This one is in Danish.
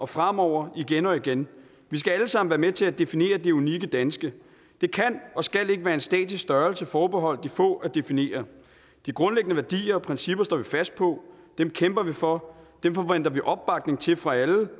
fremover igen og igen vi skal alle sammen være med til at definere det unikke danske det kan og skal ikke være en statisk størrelse forbeholdt de få at definere de grundlæggende værdier og principper står vi fast på dem kæmper vi for dem forventer vi opbakning til fra alle